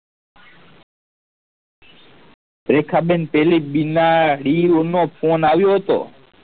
રેખા બેન પેલી બીના ડીનો ફોન આવ્યો હતો